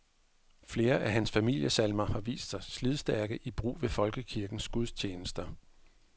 Flere af hans familiesalmer har vist sig slidstærke i brug ved folkekirkens gudstjenester.